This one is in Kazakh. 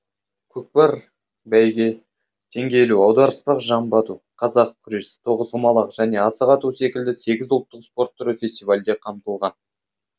көкпар бәйге теңге ілу аударыспақ жамбы ату қазақ күресі тоғызқұмалақ және асық ату секілді сегіз ұлттық спорт түрі фестивальде қамтылған